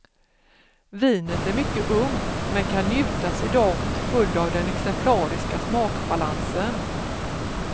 Vinet är mycket ungt men kan njutas idag till följd av den exemplariska smakbalansen.